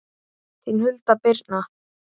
Þín Hulda Birna.